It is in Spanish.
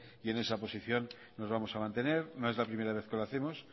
y en esta posición nos vamos a mantener no es la primera vez que lo hacemos